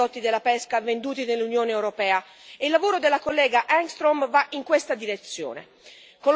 Bisogna stabilire requisiti uniformi per i prodotti della pesca venduti nell'Unione europea, e il lavoro dell'on.